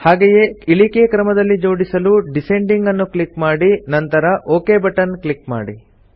ಹಾಗೆಯೇ ಇಳಿಕೆ ಕ್ರಮದಲ್ಲಿ ಜೋಡಿಸಲು ಡಿಸೆಂಡಿಂಗ್ ನ್ನು ಕ್ಲಿಕ್ ಮಾಡಿ ನಂತರ ಒಕ್ ಬಟನ್ ಕ್ಲಿಕ್ ಮಾಡಿ